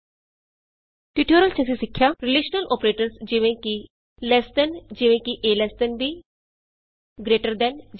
ਇਸ ਟਿਯੂਟੋਰਿਅਲ ਵਿਚ ਅਸੀਂ ਸਿੱਖਿਆ ਹੈ ਰਿਲੇਸ਼ਨਲ ਅੋਪਰੇਟਰਸ ਜਿਵੇਂ ਕਿ ਲ਼ੇਸ ਦੇਨ ਈਜੀ